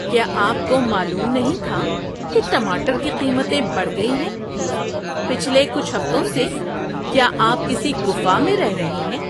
کیا آپ کو معلوم نہیں تھا کہ ٹماٹر کی قیمتیں بڑھ گئی ہیں؟ پچھلے کچھ ہفتوں سے کیا آپ کسی گُفا میں رہ رہے ہیں؟